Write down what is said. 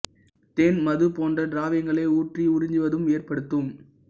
தொப்புளில் தேன் மது போன்ற திரவியங்களை ஊற்றி உறிஞ்சுவதும் கிளர்ச்சியை ஏற்படுத்தும்